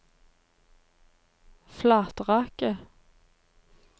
Flatraket